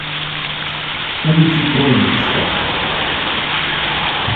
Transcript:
улицы крови искать